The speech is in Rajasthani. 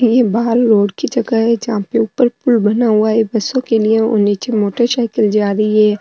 ये बहार रोड की जगह है जहा पे ऊपर पूल बना हुआ है बसों के लिए और नीचे मोटर साईकल जा रही है।